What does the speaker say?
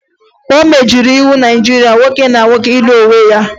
O megidere iwu Naịjirịa nwoke na nwoke ịlụ onwe ha